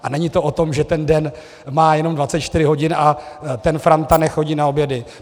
A není to o tom, že ten den má jenom 24 hodin a ten Franta nechodí na obědy.